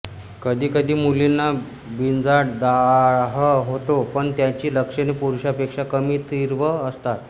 कधीकधी मुलींना बीजांड दाह होतो पण त्याची लक्षणे पुरुषांपेक्षा कमी तीव्र असतात